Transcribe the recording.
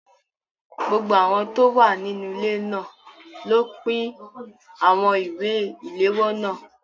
Gbogbo àwọn tó wà nínú ilé náà ló pín àwọn ìwé ìléwọ́ náà.